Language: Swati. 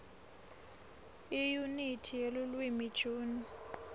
iyunithi yelulwimi june